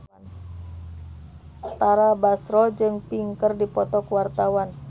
Tara Basro jeung Pink keur dipoto ku wartawan